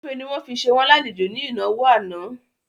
Ògúnfe ni wọ́n fi ṣe wọ́n lálejò ní ìnáwó àná